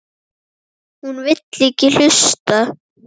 Hún vill ekki hlusta.